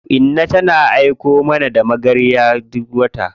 Inna tana aiko mana da magarya duk wata.